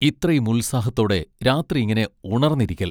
ഇത്രയും ഉത്സാഹത്തോടെ രാത്രി ഇങ്ങനെ ഉണർന്നിരിക്കൽ.